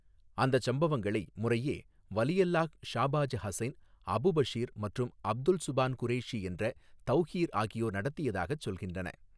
அந்தச் சம்பவங்களை முறையே வலியல்லாஹ் ஷாபாஜ் ஹசைன் அபு பஷீர் மற்றும் அப்துல் சுபான் குரேஷி என்ற தவ்கீர் ஆகியோர் நடத்தியதாகச் சொல்கின்றன.